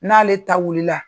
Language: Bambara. N'ale ta wulila